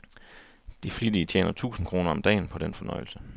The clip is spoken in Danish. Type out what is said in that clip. De flittige tjener tusind kroner om dagen på den fornøjelse.